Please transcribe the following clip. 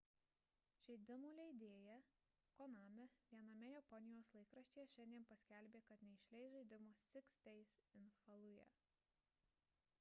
žaidimų leidėja konami viename japonijos laikraštyje šiandien paskelbė kad neišleis žaidimo six days in fallujah